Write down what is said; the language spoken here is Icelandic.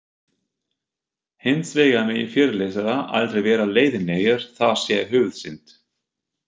Hins vegar megi fyrirlesarar aldrei vera leiðinlegir, það sé höfuðsynd.